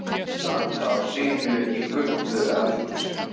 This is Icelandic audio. Að standa á sínu í gulu eldhúsi